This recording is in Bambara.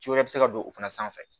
Ci wɛrɛ bɛ se ka don o fana sanfɛ